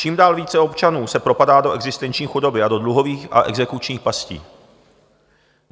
Čím dál více občanů se propadá do existenční chudoby a do dluhových a exekučních pastí.